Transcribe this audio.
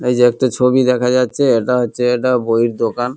এই যে একটা ছবি দেখা যাচ্ছে এটা হচ্ছে এটা বইয়ের দোকান।